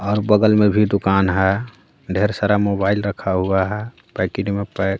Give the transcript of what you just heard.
और बगल में भी दुकान है ढेर सारा मोबाइल रखा हुआ है पेकिट मे पे --